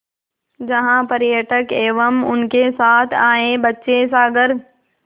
जहाँ पर्यटक एवं उनके साथ आए बच्चे सागर